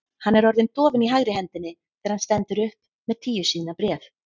Hann er orðinn dofinn í hægri hendinni þegar hann stendur upp með tíu síðna bréf.